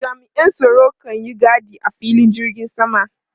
Jami'an tsaro kan yi gadi a filin jirgin sama.